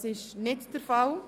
– Das ist nicht der Fall.